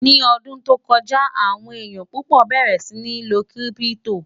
ní ọdún tó kọjá, àwọn èyán púpò bẹrẹ sí ní ló kírìpitò